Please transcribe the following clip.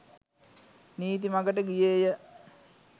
නීති මඟට ගියේය.